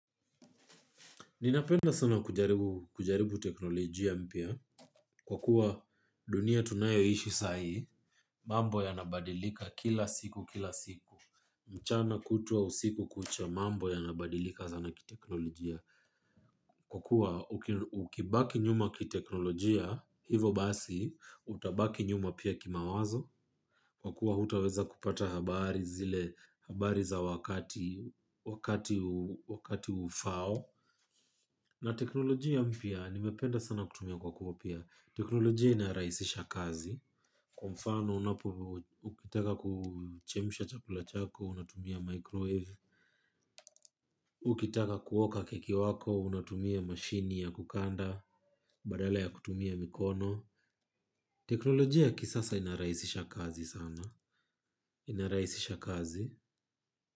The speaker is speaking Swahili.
Ninapenda sana kujaribu teknolojia mpya kwa kuwa dunia tunayoishi saa hii, mambo yanabadilika kila siku, kila siku. Mchana kutwa usiku kucha, mambo yanabadilika sana kiteknolojia. Kwa kuwa ukibaki nyuma kiteknolojia, hivo basi utabaki nyuma pia kimawazo, kwa kuwa hutaweza kupata habari zile habari za wakati wakati ufaao. Na teknolojia mpya, nimependa sana kutumia kwa Copia. Teknolojia inarahisisha kazi. Kwa mfano, unapo, ukitaka kuchemsha chakula chako, unatumia 'microwave,' ukitaka kuoka keki wako, unatumia mashine ya kukanda, badala ya kutumia mikono. Teknolojia ya kisasa inarahisisha kazi sana. Inarahisisha kazi.